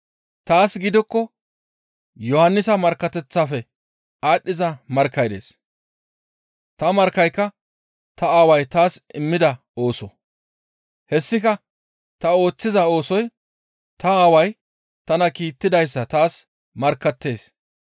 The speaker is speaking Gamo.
Taas gidikko Yohannisa markkateththafe aadhdhiza markkay dees. Ta markkayka ta Aaway taas immida ooso. Hessika ta ooththiza oosoy ta Aaway tana kiittidayssa taas markkattees.